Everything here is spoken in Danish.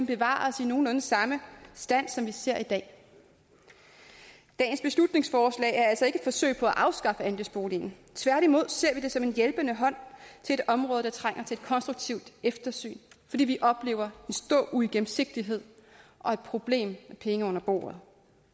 bevares i nogenlunde samme stand som vi ser i dag dagens beslutningsforslag er altså ikke forsøg på at afskaffe andelsboligen tværtimod ser vi det som en hjælpende hånd til et område der trænger til et konstruktivt eftersyn fordi vi oplever en stor uigennemsigtighed og et problem med penge under bordet